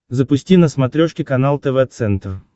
запусти на смотрешке канал тв центр